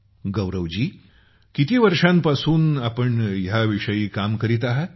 गौरव जी किती वर्षांपासून आपण ह्या विषयी काम करत आहांत